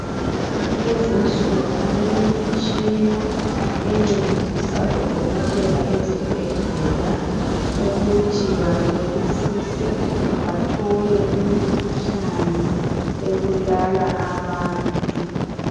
Kulezinsuku kulemitshina encedisa odokotela ezibhedlela ukuthi bahlolisise bathole imikhuhlane ebulala abantu